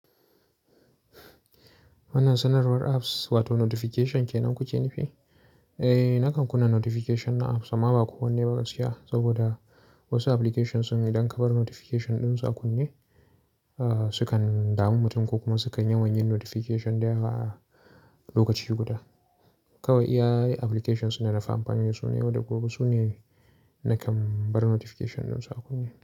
Wannan sanarwar apps wato notification ke nan kuke nufi? Eh, nakan kunna notification na apps amma ba kullum ba gaskiya saboda wasu applications din idan ka bar notification ɗin su a kunne, sukan dami mutum ko kuma sukan yawan yin notification da yawa a lokaci guda. Kawai iya applications din na fi amfani da su na yau da gobe su ne nakan bar notification ɗin su a kunne.